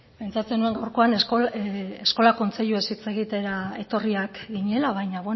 pentsatzen nuen gaurkoan eskola kontseiluaz hitz egitera etorriak ginela baina